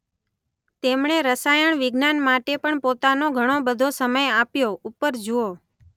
તેમણે રસાયણ વિજ્ઞાન માટે પણ પોતાનો ઘણો બધો સમય આપ્યો ઉપર જુઓ.